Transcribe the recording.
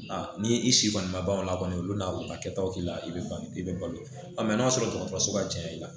Ni i si kɔni ma ban o la kɔni olu bɛna u ka kɛtaw k'i la i bɛ bange i bɛ balo n'a sɔrɔ dɔgɔtɔrɔsoba janya i la